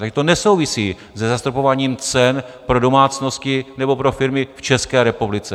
Tady to nesouvisí se zastropováním cen pro domácnosti nebo pro firmy v České republice.